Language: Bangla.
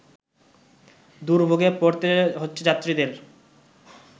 দুর্ভোগে পড়তে হচ্ছে যাত্রীদের